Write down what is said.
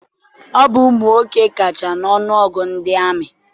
Ọ bụ ụmụnwoke kacha n'ọnụọgụ ndị amị.